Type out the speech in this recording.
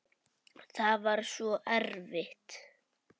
Það var svo erfitt.